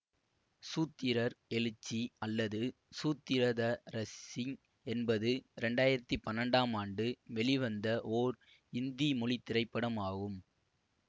சூத்திரர் எழுச்சி அல்லது சூத்திர த ரசிங் என்பது இரண்டு ஆயிரத்தி பன்னெண்டாம் ஆண்டு வெளிவந்த ஓர் இந்தி மொழி திரைப்படம் ஆகும்